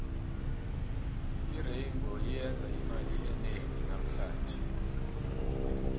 irainbow iyenze imali enengi namuhlange